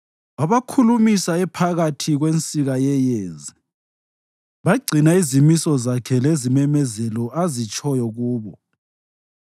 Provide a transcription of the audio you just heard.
Wabakhulumisa ephakathi kwensika yeyezi; bagcina izimiso zakhe lezimemezelo azitshoyo kubo.